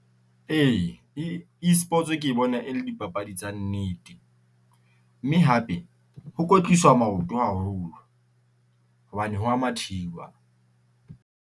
E, E Esports ke bona e le dipapadi tsa nnete mme hape ho kwetliswa maoto haholo hobane ho ya mathiwa.